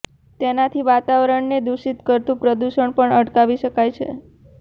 તેનાથી વાતાવરણ ને દુષિત કરતુ પ્રદુષણ પણ અટકાવી શકાય છે